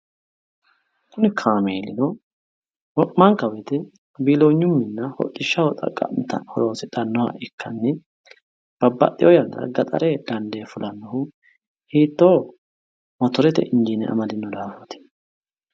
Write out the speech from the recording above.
Kuni kaameelino wo'manka woyite biiloonyehonna hodhishshaho xaqqa'mitanno horonsidhsnno. Babbaxxitewo gaxarete dandee fulannohu hiittooho? Motorete injiine amadino daafooti.